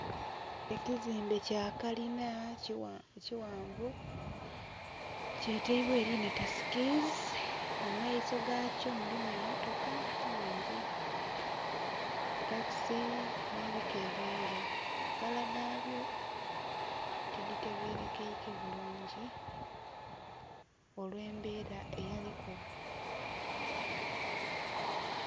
Ekizimbe kya kalinha kighanvu kyetaibwa erina tasikizi mumaiso gakyo mulimu emmotoka nnhingi takisi n'ebika ebindhi kala dhabyo tiditegerekaike bulungi olw'ebera eyaliku.